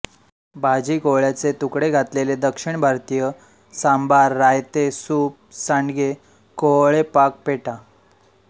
भाजी कोहळ्याचे तुकडे घातलेले दक्षिण भारतीय सांभार रायते सूप सांडगे कोहळेपाक पेठा